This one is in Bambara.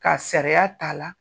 Ka sariya t'a la